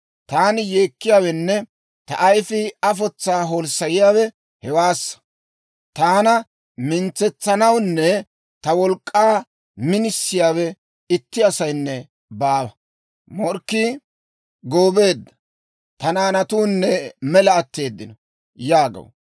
Taani yeekkiyaawenne ta ayifii afotsaa holssayiyaawe hewaassa. Taana mintsetsanawunne ta wolk'k'aa minisiyaawe itti asaynne baawa. Morkkii goobeedda; ta naanatuunne mela atteeddino» yaagaw.